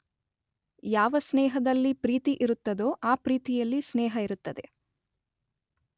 ಯಾವ ಸ್ನೇಹದಲ್ಲಿ ಪ್ರೀತಿ ಇರುತ್ತದೊ ಅ ಪ್ರೀತಿಯಲ್ಲಿ ಸ್ನೇಹ ಇರುತ್ತದೆ.